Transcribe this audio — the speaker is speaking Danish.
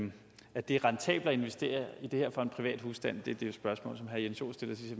at det er rentabelt at investere i det her for en privat husstand det var det spørgsmål som herre jens joel stillede til